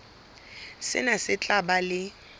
sena se tla ba le